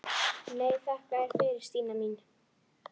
Nei, þakka þér fyrir Stína mín.